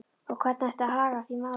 Og hvernig ætti að haga því máli?